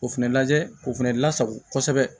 O fɛnɛ lajɛ o fɛnɛ lasago kosɛbɛ